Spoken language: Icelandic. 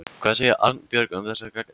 Hvað segir Arnbjörg um þessa gagnrýni?